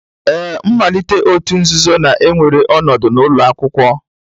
Ee, mmalite òtù nzuzo na-ewere ọnọdụ n'ụlọ akwụkwọ